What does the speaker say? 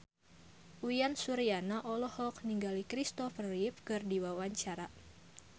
Uyan Suryana olohok ningali Kristopher Reeve keur diwawancara